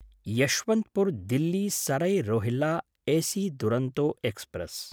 यशवन्तपुर्–दिल्ली Sarai Rohilla AC Duronto express